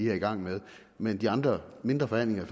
i gang med men de andre mindre forhandlinger i